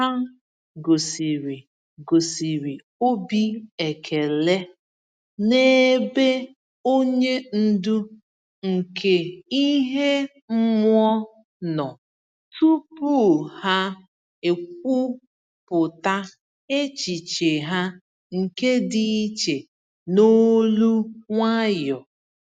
Ha gosịrị gosịrị obi ekele n'ebe onye ndu nke ihe mmụọ nọ tupu ha ekwupọta echiche ha nke dị iche n'olu nwayọ.